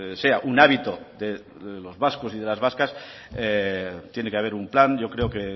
sea un hábito de los vascos y de las vascas tiene que haber un plan yo creo que